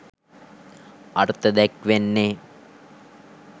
අර්ථ දැක්වෙන්නේ.